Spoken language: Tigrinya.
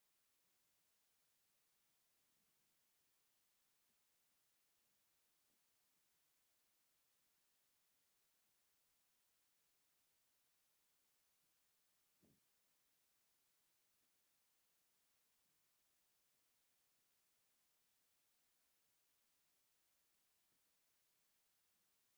ጥርሙዝ ናይ ቪምቶ ፍረ ሽሮፕ ተገሊጹ ኣሎ። እዚ መስተ እዚ ካብ ዝተፈላለዩ ጽማቝ ፍረታት፡ እንተላይ ካብ ወይኒ፡ ጸሊም ፍረታትን ስትሮቨሪን ዝስራሕ እዩ። ኣብዚ ዝተርኣየ መስተ ቀንዲ መኣዛታት ፍረታት እንታይ እዮም?